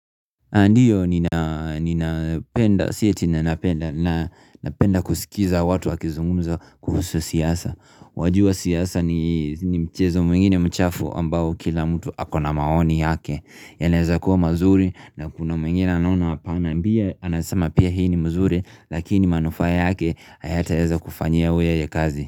Ndiyo ni napenda kusikiza watu wakizungumza kuhusu siasa Wajua siaasa ni ni mchezo mwingine mchafu ambao kila mtu akona maoni yake yanaeza kuwa mazuri na kuna mwingine anaona hapana Bia anasama pia hii ni mzuri lakini manufaa yake hayataeza kufanyia weye ya kazi.